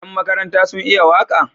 Yan makaranta sun iya waka?